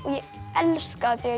ég elska þegar